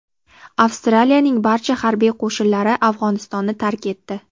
Avstraliyaning barcha harbiy qo‘shinlari Afg‘onistonni tark etdi.